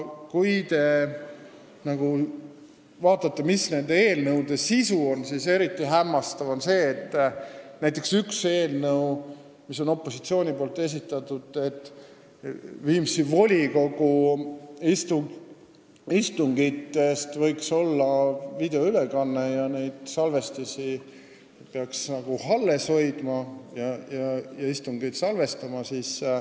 Kui vaadata, mis nende eelnõude sisu on, siis eriti hämmastav on see, et näiteks üks opositsiooni eelnõudest näeb ette, et Viimsi volikogu istungitest võiks teha videoülekande, neid istungeid peaks salvestama ja salvestisi alles hoidma.